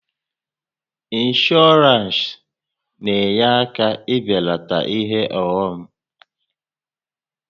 Ịnshọọransị na-enye aka e belata ihe ọghọm